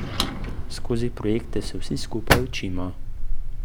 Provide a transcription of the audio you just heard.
Skozi projekte se vsi skupaj učimo.